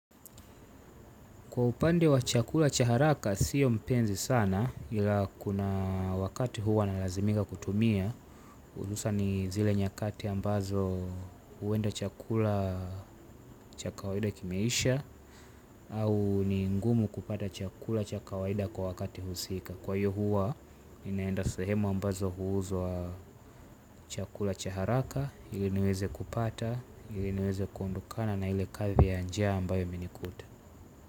Kwa upande wa chakula cha haraka sio mpenzi sana ila kuna wakati huwa nalazimika kutumia hususan ni zile nyakati ambazo huenda chakula cha kawaida kimeisha au ni ngumu kupata chakula cha kawaida kwa wakati husika kwaiyo huwa ninaenda sehemu ambazo huuzwa chakula cha haraka ili niweze kupata ili niweze kuondokana na ile kazi ya njia ambayo imenikuta.